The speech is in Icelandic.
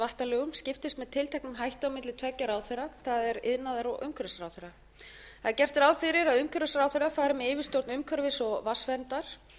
vatnalögum skiptist með tilteknum hætti milli tveggja ráðherra það er iðnaðar og umhverfisráðherra það er gert ráð fyrir að umhverfisráðherra fari með yfirstjórn umhverfis og vatnsverndar